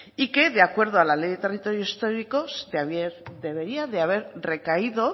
y que de acuerdo a la ley de territorios históricos debería de haber recaído